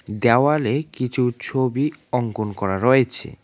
দেওয়ালে কিছু ছবি অংকন করা রয়েছে।